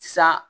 Sa